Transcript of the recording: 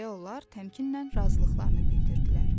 Deyə onlar təmkinlə razılıqlarını bildirdilər.